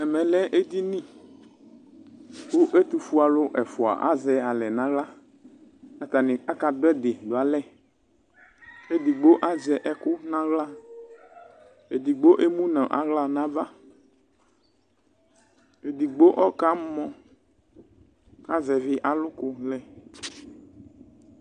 Ɛmɛ lɛ edini ku ɛtufue ɛfua azɛ alɛ nu aɣla atani akadu ɛdi du alɛ edigbo azɛ ɛku nu aɣla edigbo emu nu aɣla nava edigbo ɔkamɔ azɛvi aluku lɛ